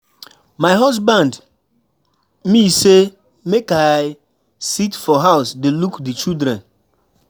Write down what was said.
My husband me say make I sit for house dey look the children.